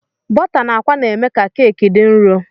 Bọta na àkwá na-eme ka keki dị nro.